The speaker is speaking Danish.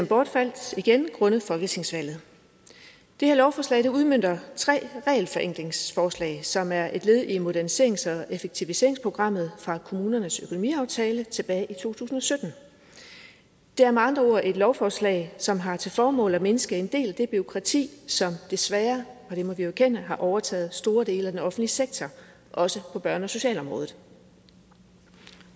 bortfaldt grundet folketingsvalget det her lovforslag udmønter tre regelforenklingsforslag som er et led i moderniserings og effektiviseringsprogrammet fra kommunernes økonomiaftale tilbage i to tusind og sytten det er med andre ord et lovforslag som har til formål at mindske en del af det bureaukrati som desværre for det må vi erkende har overtaget store dele af den offentlige sektor også på børne og socialområdet